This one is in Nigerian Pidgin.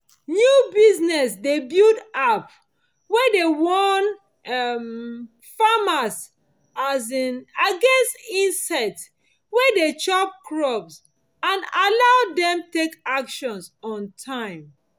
new business dey build app wey dey warn um farmers um against insects wey de chop crops and allow dem take action on time